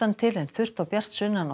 til en þurrt og bjart sunnan og